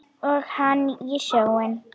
Og kinnar þínar titra.